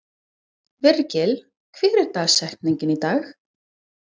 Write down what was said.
Virgill, hver er dagsetningin í dag?